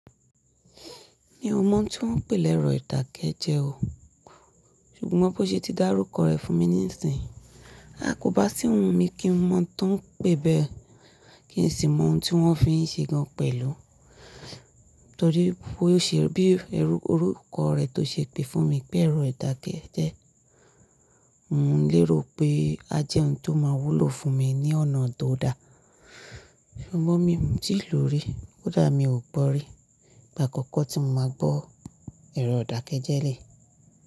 Mi ò mọ̀ n tí wọ́n ń pè le ẹrọ ìdàkẹ́jẹ́ o, ṣùgbọ́n bó ṣe ti dá orúkọ rẹ̀ fún mi nísìnyí, à kóbá sì wù mí kí n mọ̀ tán pé bẹ́ẹ̀ kí n sì mọ ohun tí wọ́n fi ń ṣe gan pẹ̀lú. Nítorí bó ṣe bí orúkọ rẹ̀ tó ṣe pé fún mi pé ẹ̀rọ ìdàkẹ́jẹ́, mò ń lérò pé a jẹ́ ohun tó máa wúlò fún mi ní ọ̀nà tó da. Ṣùgbọ́n mi ò tíì lò ó rí, kó dà mí ò gbọ rí, ìgbà àkọ́kọ́ tí mo máa gbọ́ ẹ̀rọ ìdàkẹ́jẹ́ re.